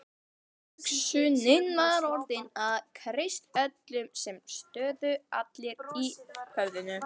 Hugsunin var orðin að kristöllum sem stóðu fastir í höfðinu.